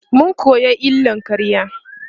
mun koya illar ƙarya